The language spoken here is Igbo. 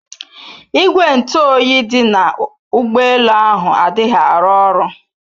Ìgwè ntụ oyi dị na ụgbọ elu ahụ adịghị arụ oru